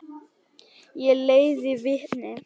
Ég leiði vitni.